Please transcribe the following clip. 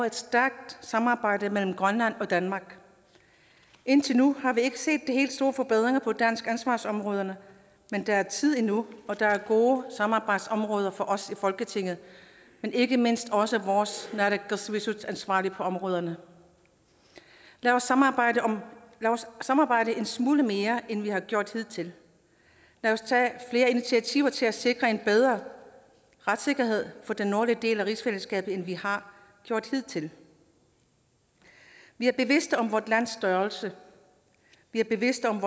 et stærkt samarbejde mellem grønland og danmark indtil nu har vi ikke set de helt store forbedringer på de danske ansvarsområder men der er tid endnu og der er gode samarbejdsområder for os i folketinget men ikke mindst også for vores naalakkersuisutansvarlige på områderne lad os samarbejde samarbejde en smule mere end vi har gjort hidtil lad os tage flere initiativer til at sikre en bedre retssikkerhed for den nordlige del af rigsfællesskabet end vi har gjort hidtil vi er bevidste om vort lands størrelse vi er bevidste om